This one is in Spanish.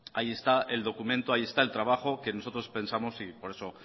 ahí está el documento ahí está el trabajo que nosotros pensamos y por eso